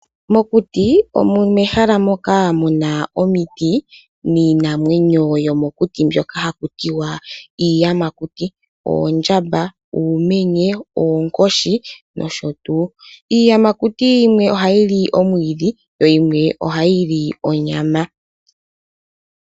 Mokuti omo mehala moka muna omiti niinamwenyo yomokuti mbyoka hakutiwa iiyamakuti oondjamba, uumenye, oonkoshi nosho tuu. Iiyamakuti yimwe ohayi li omwidhi yo yimwe ohayi li onyama.